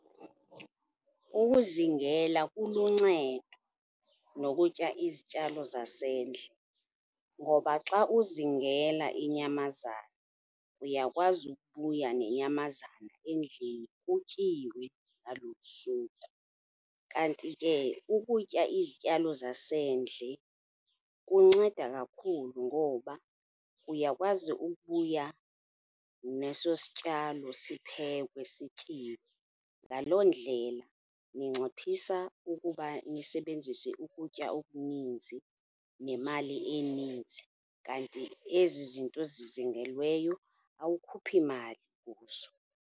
Ukuzingela kuluncedo nokutya izityalo zasendle, ngoba xa uzingela iinyamazana uyakwazi ukubuya nenyamazana endlini kutyiwe ngalo olo suku. Kanti ke ukutya izityalo zasendle kunceda kakhulu ngoba uyakwazi ukubuya neso sityalo, siphekwe sityiwe. Ngaloo ndlela ninciphisa ukuba nisebenzise ukutya okuninzi nemali eninzi, kanti ezi zinto zizingelweyo awukhuphi mali kuzo.